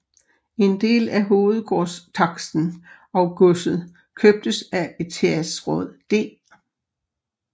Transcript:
En del af hovedgårdstaksten og godset købtes af etatsråd D